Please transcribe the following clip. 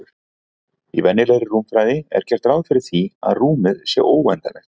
Í venjulegri rúmfræði er gert ráð fyrir því að rúmið sé óendanlegt.